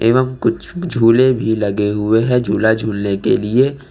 यहां कुछ झूले भी लगे हुए हैं झूला झूलने के लिए।